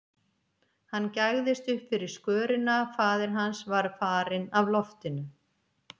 Hann gægðist upp fyrir skörina, faðir hans var farinn af loftinu.